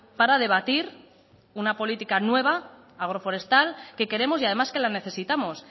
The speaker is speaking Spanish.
para debatir una política nueva agroforestal que queremos y además que la necesitamos